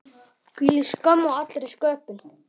Hvílík skömm á allri sköpun.